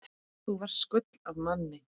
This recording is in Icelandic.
Þú varst gull af manni.